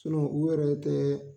u yɛrɛ tɛ